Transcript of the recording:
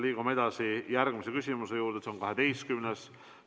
Liigume edasi järgmise küsimuse juurde, see on 12.